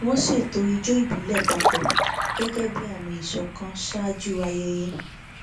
wọn ṣètò ijó ìbílẹ papọ gẹgẹ bí àmì ìṣọkan ṣáájú ayẹyẹ